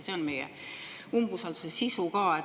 See on meie umbusalduse sisu.